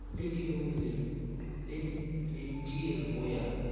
ledirolli le leitiri go ya